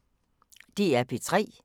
DR P3